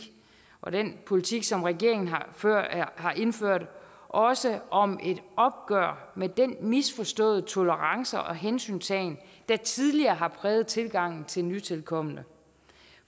og den politik som regeringen har indført også om et opgør med den misforståede tolerance og hensyntagen der tidligere har præget tilgangen til nytilkomne